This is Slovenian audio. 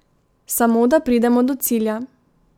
Samo da pridemo do cilja.